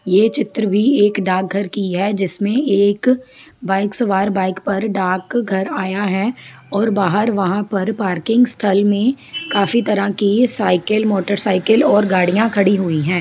यह चित्र भी एक डाक घर की है जिसमे एक बाइक सवार बाइक पर डाक घर आया है और बाहर वहां पर पार्किंग स्थल मे काफ़ी तरह की साईकल मोटरसाइडिल और गाड़िया खड़ी हुई है।